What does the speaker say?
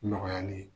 Nɔgɔyali